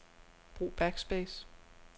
Brug backspace.